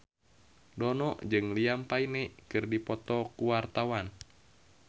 Dono jeung Liam Payne keur dipoto ku wartawan